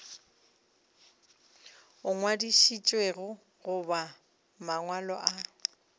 a ngwadišitšwego goba mangwalo a